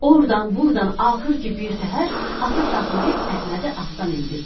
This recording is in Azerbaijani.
Ordan-burdan axır ki birtəhər atı saxlayıb Əhmədi atdan endirdilər.